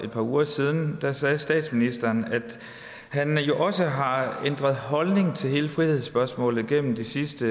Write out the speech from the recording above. par uger siden sagde statsministeren at han jo også har ændret holdning til hele frihedsspørgsmålet gennem de sidste